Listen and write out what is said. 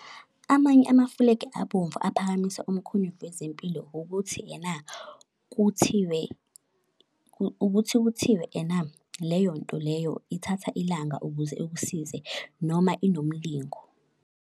Amanye amafulegi abomvu aphakamisa umkhonyovu wezempilo ukuthi ena kuthiwe, ukuthi kuthiwe ena leyonto leyo ithatha ilanga ukuze ikusize noma inomlingo.